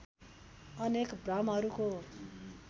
अनेक भ्रमहरूको